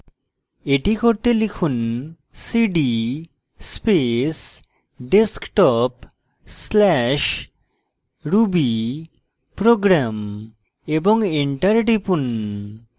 এটি করতে লিখুন cd space desktop/rubyprogram এবং enter টিপুন